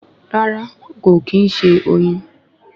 Rárá kò kín ṣe oyin